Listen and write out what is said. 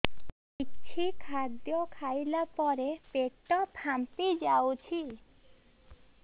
କିଛି ଖାଦ୍ୟ ଖାଇଲା ପରେ ପେଟ ଫାମ୍ପି ଯାଉଛି